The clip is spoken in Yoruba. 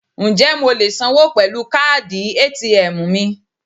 Ǹjẹ́ mo lè sanwó pẹ̀lú káàdì ATM mi?